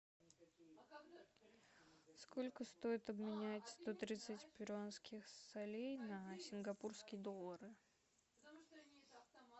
сколько стоит обменять сто тридцать перуанских солей на сингапурские доллары